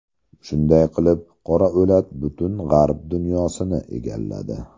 Shunday qilib, qora o‘lat butun g‘arb dunyosini egalladi.